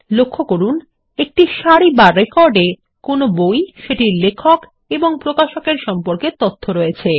লক্ষ্য করুন প্রতিটি সারি বা রেকর্ড এ কোনো বই সেটির লেখক এবং প্রকাশকের সম্পর্কে তথ্য রয়েছে